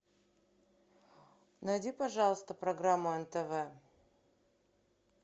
найди пожалуйста программу нтв